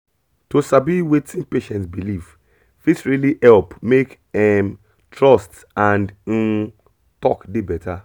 to sabi wetin patient believe fit really help make um trust and um talk dey better